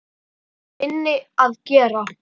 Það er minna að gera.